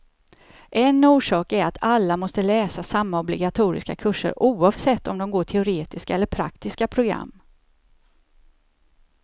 En orsak är att alla måste läsa samma obligatoriska kurser, oavsett om de går teoretiska eller praktiska program.